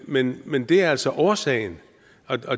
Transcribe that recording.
men men det er altså årsagen